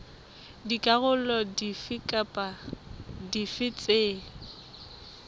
dikarolo dife kapa dife tse